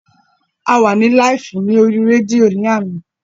A wà ní láìfù ní orí rédíò lánàá